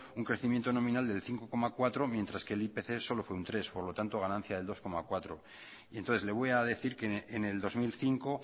un crecimiento nominal del cinco coma cuatro mientras que el ipc solo fue un tres por lo tanto ganancia del dos coma cuatro y entonces le voy a decir que en el dos mil cinco